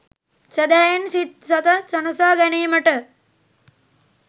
සැදැහැයෙන් සිත් සතන් සනසා ගැනීමට